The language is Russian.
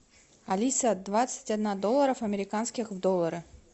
алиса двадцать одна доллара в американские доллары